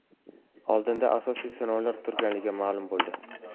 Oldinda asosiy sinovlar turganligi ma’lum bo‘ldi.